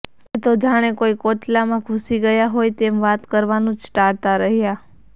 એ તો જાણે કોઈ કોચલામાં ઘૂસી ગયા હોય તેમ વાત કરવાનું જ ટાળતાં રહ્યા